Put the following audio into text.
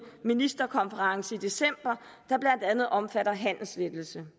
ministerkonference i december der blandt andet omfatter handelslettelser